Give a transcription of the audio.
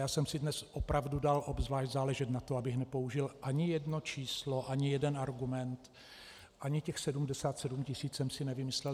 Já jsem si dnes opravdu dal obzvlášť záležet na tom, abych nepoužil ani jedno číslo, ani jeden argument, ani těch 77 tisíc jsem si nevymyslel.